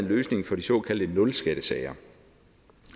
løsning for de såkaldte nulskattesager